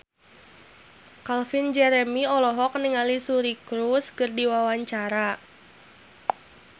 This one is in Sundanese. Calvin Jeremy olohok ningali Suri Cruise keur diwawancara